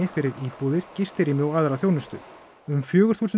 fyrir íbúðir gistirými og aðra þjónustu um fjögur þúsund